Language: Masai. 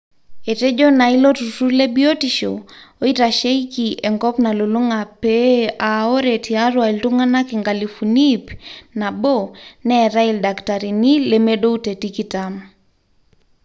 etejo naa ilo turrur lebiotishu oitasheiki enkop nalulung'a pee aa ore tiatua iltung'anak inkalifuni ip nabo neetai ildakitarini lemedou te tikitam